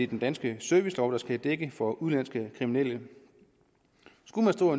den danske servicelov der skal dække udgifter for udenlandske kriminelle skulle man stå